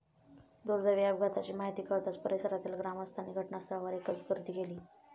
दुर्दैवी अपघाताची माहिती कळताच परिसरातील ग्रामस्थांनी घटनास्थळावर एकच गर्दी केली.